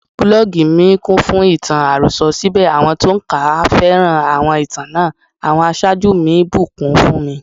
Búlọ́gì mi kúnfún ìtàn àròsọ, síbẹ̀ àwọn tó ń kà á féràn àwọn ìtàn náà; àwọn aṣáájú mi ńbùkún fúnmi.